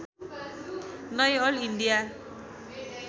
नै all India